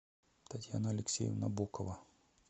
татьяна алексеевна бокова